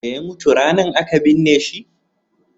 da ya mutu ranan a ka binne shi?